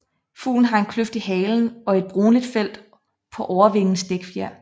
Fuglen har en kløft i halen og et brunligt felt på overvingens dækfjer